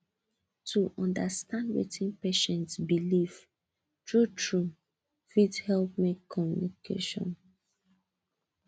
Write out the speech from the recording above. to understand wetin patient believe truetrue fit help make communication